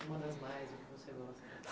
Uma das mais, o que você gosta?